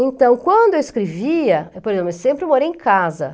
Então, quando eu escrevia, por exemplo, eu sempre morei em casa.